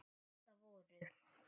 Þetta voru